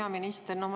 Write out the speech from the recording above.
Hea minister!